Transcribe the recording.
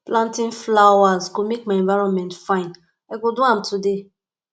planting flowers go make my environment fine i go do am today